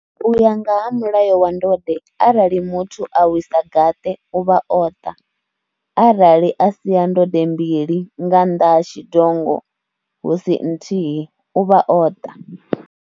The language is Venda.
U ya nga ha mulayo wa ndode arali muthu a wisa gaṱe u vha o ṱa, arali a sia ndode mbili nga nnḓa ha tshidongo hu si nthihi u vha o ṱa.